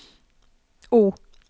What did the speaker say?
O